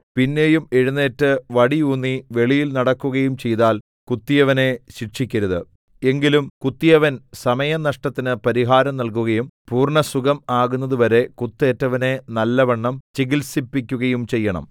പിന്നെയും എഴുന്നേറ്റ് വടി ഊന്നി വെളിയിൽ നടക്കുകയും ചെയ്താൽ കുത്തിയവനെ ശിക്ഷിക്കരുത് എങ്കിലും കുത്തിയവൻ സമയനഷ്ടത്തിന് പരിഹാരം നൽകുകയും പൂർണ്ണസുഖം ആകുന്നതുവരെ കുത്തേറ്റവനെ നല്ലവണ്ണം ചികിത്സിപ്പിക്കുകയും ചെയ്യണം